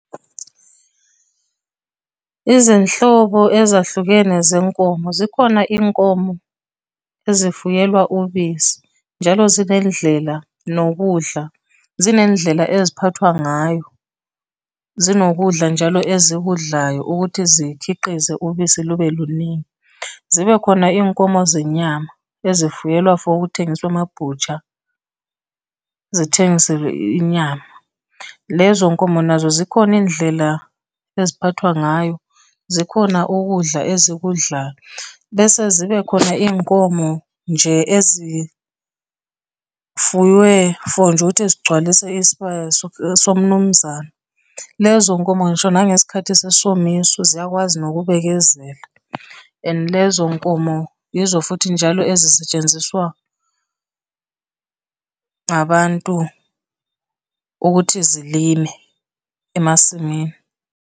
Izinhlobo ezahlukene zenkomo, zikhona iy'nkomo ezifuyelwa ubisi, njalo zinendlela nokudla, zinendlela eziphathwa ngayo. Zinokudla njalo ezikudlayo ukuthi zikhiqize ubisi lube luningi. Zibe khona iy'nkomo zenyama ezifuyelwa for ukuthengiswa ema-butcher, zithengiselwe inyama. Lezo nkomo nazo zikhona iy'ndlela eziphathwa ngayo, zikhona ukudla ezikudlayo, bese zibe khona iy'nkomo nje ezifuyiwe for nje ukuthi zigcwalise isibaya somnumzane. Lezo nkomo ngisho nangesikhathi sesomiso, ziyakwazi nokubekezela, and lezo nkomo izo futhi njalo ezisetshenziswa abantu ukuthi zilime emasimini.